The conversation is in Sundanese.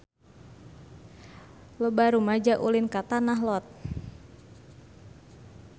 Loba rumaja ulin ka Tanah Lot